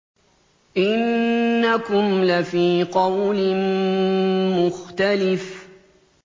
إِنَّكُمْ لَفِي قَوْلٍ مُّخْتَلِفٍ